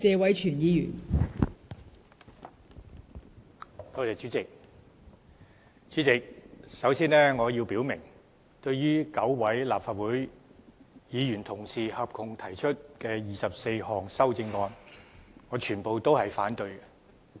代理主席，首先我要表明，對於9位立法會議員合共提出的24項修正案，我全部也會反對。